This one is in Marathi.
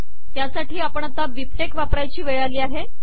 त्यासाठी आपण आता बिबटेक्स वापरायची वेळ आली आहे